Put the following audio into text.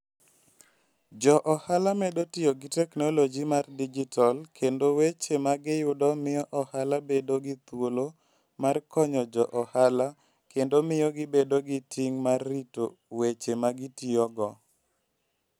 Jo ohala medo tiyo gi teknoloji mar digital, kendo weche ma giyudo miyo ohala bedo gi thuolo mar konyo jo ohala kendo miyo gibedo gi ting' mar rito weche ma gitiyogo.